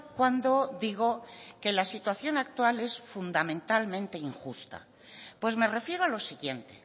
cuando digo que la situación actual es fundamentalmente injusta pues me refiero a lo siguiente